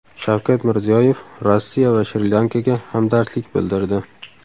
Shavkat Mirziyoyev Rossiya va Shri-Lankaga hamdardlik bildirdi.